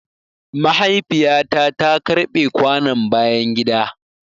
Mahaifiya ta ta karɓe kwanon bayan gida.